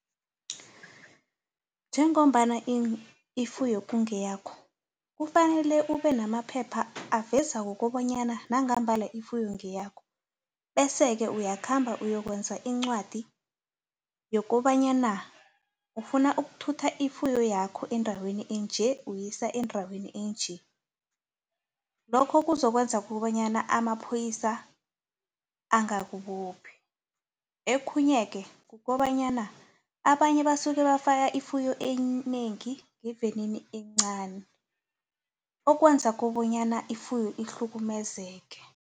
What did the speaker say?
Njengombana ifuyo kungeyakho kufanele ube namaphepha aveza kukobanyana nangambala ifuyo ngeyakho bese-ke uyakhamba kuyokwenza iincwadi yokobanyana ufuna ukuthutha ifuyo yakho endaweni enje, uyisa endaweni enje. Lokho kuzokwenza kobanyana amapholisa angakubophi. Okhunyeke kukobanyana abanye basuke bafaka ifuyo enengi ngevenini encani okwenza kobonyana ifuyo ihlukumezeke.